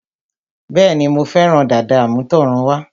Bẹ́ẹ̀ni, Mo fẹ́ràn dàda àmútọ̀runwá